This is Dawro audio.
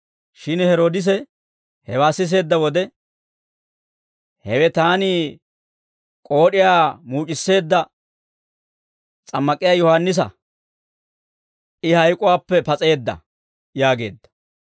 Shin Heroodise hewaa siseedda wode, «Hewe taani k'ood'iyaa muuc'isseedda s'ammak'iyaa Yohaannisa. I hayk'uwaappe pas'eedda» yaageedda.